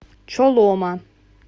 чолома